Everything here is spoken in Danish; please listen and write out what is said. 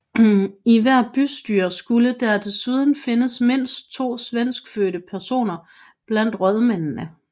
I hvert bystyre skulle der desuden findes mindst to svenskfødte personer blandt rådmændene